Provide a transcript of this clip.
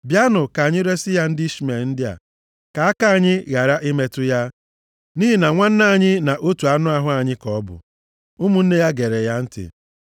Bịanụ, ka anyị resi ya ndị Ishmel ndị a, ka aka anyị ghara nʼimetụ ya, nʼihi na nwanne anyị na otu anụ ahụ anyị ka ọ bụ.” Ụmụnne ya gere ya ntị.